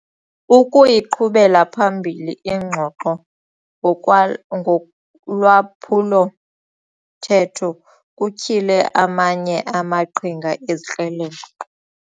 Ukuyiqhubela phambili ingxoxo ngokwa ngolwaphulo-mthetho kutyhile amanye amaqhinga ezikrelemnqa.